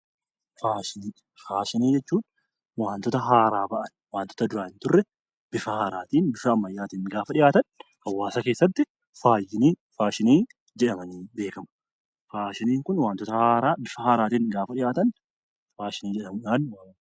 Faashinii Faashinii jechuun waantota haaraa bahanii waantota duraan hin jirre, bifa haaraatiin gaafa dhihaatan hawaasa keessatti faashinii jedhamuun beekamu. Faashiniin Kun waantota haaraa, bifa ammayyaatiin yemmuu dhihaatan faashinii jedhamuudhaan waamamu.